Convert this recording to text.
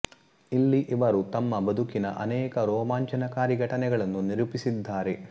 ಇಲ್ಲಿ ಇವರು ತಮ್ಮ ಬದುಕಿನ ಅನೇಕ ರೋಮಾಂಚನಕಾಗಿ ಘಟನೆಗಳನ್ನು ನಿರೂಪಿಸಿದ್ದಾರೆ